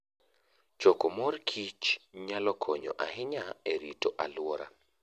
Choko mor kich nyalo konyo ahinya e rito alwora.